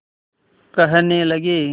कहने लगे